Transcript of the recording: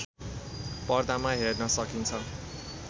पर्दामा हेर्न सकिन्छ